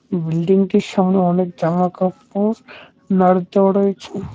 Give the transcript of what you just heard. বিল্ডিংটির সামনে অনেক জামাকাপড় নাড় দেওয়া রয়েছে।